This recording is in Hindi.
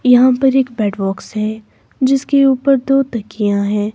यहाँ पर एक बेड बॉक्स है जिसके ऊपर दो तकियाँ हैं।